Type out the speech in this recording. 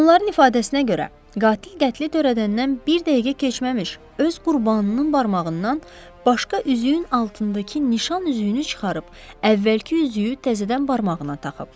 Onların ifadəsinə görə, qatil qətli törədəndən bir dəqiqə keçməmiş öz qurbanının barmağından başqa üzüyün altındakı nişan üzüyünü çıxarıb, əvvəlki üzüyü təzədən barmağına taxıb.